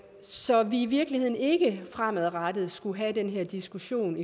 så vi i virkeligheden ikke fremadrettet skulle have den her diskussion